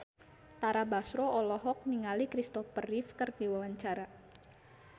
Tara Basro olohok ningali Kristopher Reeve keur diwawancara